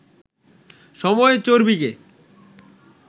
সময় চর্বিকে